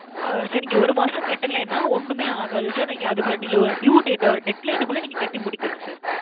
sir நீங்க ஒரு மாசம் கட்டலனா ஒண்ணுமே ஆகாது sir. நீங்க அதுக்குள்ள ~ due date, deadline குள்ள நீங்க கெட்டி முடிக்கனும் sir.